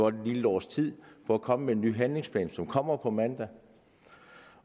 et lille års tid for at komme med en ny handlingsplan som kommer på mandag